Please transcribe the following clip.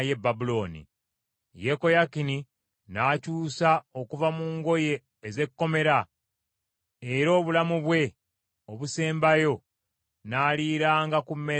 Yekoyakini n’akyusa okuva mu ngoye ez’ekkomera era obulamu bwe obusembayo n’aliranga ku mmeeza ya kabaka.